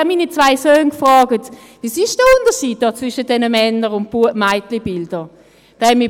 Ich fragte meine zwei Söhne, was der Unterschied sei zwischen diesen Männer- und Mädchenbildern sei.